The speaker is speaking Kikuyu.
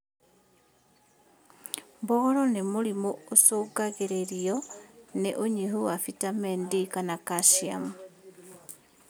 Mbogoro nĩ mũrimũ ũcũngagĩrĩrio nĩ ũnyihu wa vitameni D kana kaciamu